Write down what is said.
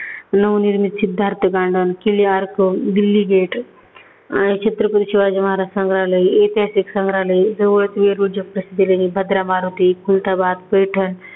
नवनिर्मित Siddharth garden, Delhi gate आणि छत्रपती शिवाजी महाराज संग्रहालय, ऐत्याहासिक संग्रहालय, भदरा मारुती, खुलदाबाद, पैठण,